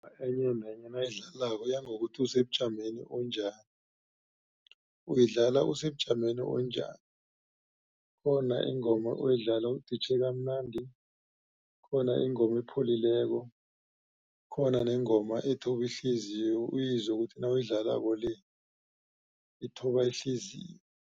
Enye nenye nayidlalako iyangokuthi usebujameni onjani. Uyidlala usebujameni onjani khona ingoma oyidlala uditjhe kamnadi khona ingoma epholileko khona nengoma ethoba ihliziyo uyizwe ukuthi nawuyidlalako le ithoba ihliziyo.